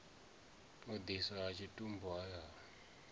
u ḓidiswa ha tshitumbu hayani